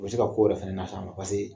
U bɛ se ka ko wɛrɛ fɛnɛ las'a ma paseke